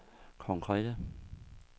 konkrete